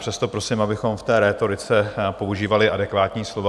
Přesto prosím, abychom v té rétorice používali adekvátní slova.